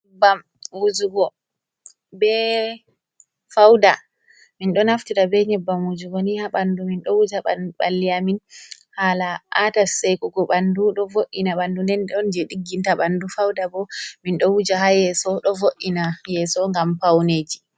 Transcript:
Nyebbam wujugo be fauda min ɗo naftira be nyebbam wujugo ni ha ɓandu min ɗo wuja ɓandu balliamin hala a'ta sekugo ɓandu ɗo vo’ina ɓandu nden don je digginta ɓandu fauda ɓo min ɗo wuja ha yeso ɗo vo’ina yeso ngam paune ji.